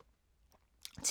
TV 2